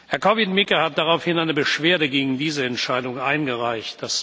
Herr Korwin Mikke hat daraufhin eine Beschwerde gegen diese Entscheidung eingereicht.